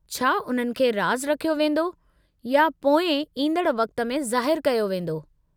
छा उन्हनि खे राज़ु रखियो वेंदो या पोइ इंदड़ वक़्त में ज़ाहिरु कयो वींदो?